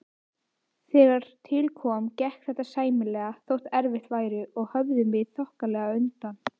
Þegar til kom, gekk þetta sæmilega, þótt erfitt væri, og höfðum við þokkalega undan.